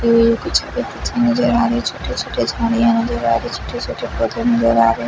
ये कुछ नजर आ रहे छोटे छोटे झाड़ियां नजर आ रहे छोटे छोटे पौधे नजर आ रहे।